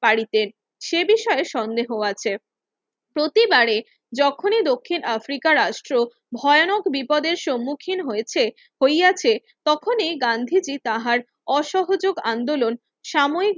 পারিতে সে বিষয়ে সন্দেহ আছে প্রতিবারি যখন দক্ষিণ আফ্রিকারা আসলো ভয়ানক বিপদের সম্মুখীন হইয়াছে তখনি গান্ধীজি তাঁহার অসহযোগ আন্দোলন সাময়িক